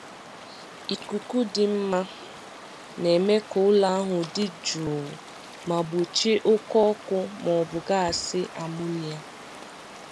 ikuku dị mma na-eme ka ụlọ ahụ dị jụụ ma gbochie oke ọkụ maọbụ gasị amonia.